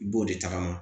I b'o de tagama